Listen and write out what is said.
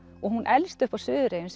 og hún elst upp á Suðureyjum